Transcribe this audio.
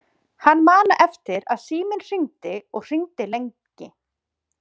Hann man eftir að síminn hringdi og hringdi lengi.